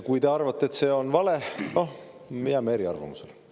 Kui te arvate, et see on vale, siis, noh, me jääme eriarvamusele.